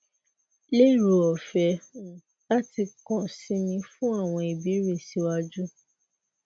lero ọfẹ um lati kan si mi fun awọn ibeere siwaju